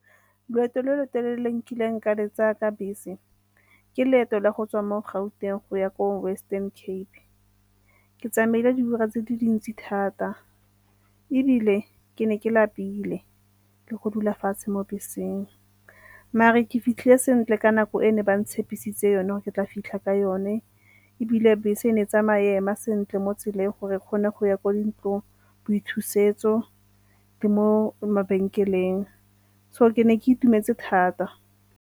Loeto lo lo telele le nkileng ka le tsaya ka bese ke leeto la go tswa mo Gauteng go ya ko Western Cape. Ke tsamaile diura tse di dintsi thata ebile ke ne ke lapile le go dula fatshe mo beseng. Mare ke fitlhile sentle ka nako e ne ba ntshepisitse yone gore ke tla fitlha ka yone ebile bese e ne e tsamaya e ema sentle mo tseleng gore e kgone go ya kwa dintlong boithusetso le mo mabenkeleng, so ke ne ke itumetse thata.